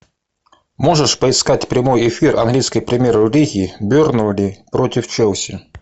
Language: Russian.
можешь поискать прямой эфир английской премьер лиги бернли против челси